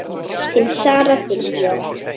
Þín Sara Diljá.